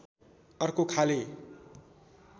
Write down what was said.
अर्को खाले